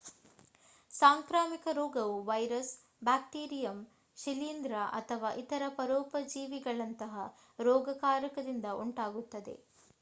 ಸಾಂಕ್ರಾಮಿಕ ರೋಗವು virus bacterium ಶಿಲೀಂಧ್ರ ಅಥವಾ ಇತರ ಪರೋಪಜೀವಿಗಳಂತಹ ರೋಗಕಾರಕದಿಂದ ಉಂಟಾಗುತ್ತದೆ